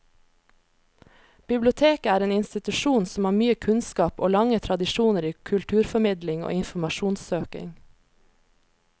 Biblioteket er en institusjon som har mye kunnskap og lange tradisjoner i kulturformidling og informasjonssøking.